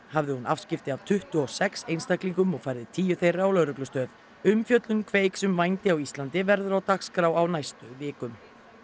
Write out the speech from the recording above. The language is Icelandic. hafði hún afskipti af tuttugu og sex einstaklingum og færði tíu þeirra á lögreglustöð umfjöllun Kveiks um vændi á Íslandi verður á dagskrá á næstu vikum